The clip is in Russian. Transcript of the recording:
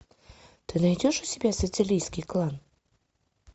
ты найдешь у себя сицилийский клан